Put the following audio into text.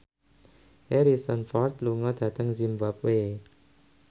Harrison Ford lunga dhateng zimbabwe